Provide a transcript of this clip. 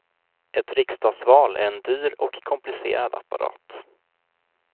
Ett riksdagsval är en dyr och komplicerad apparat.